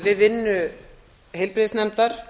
við vinnu fyrrverandi heilbrigðisnefndar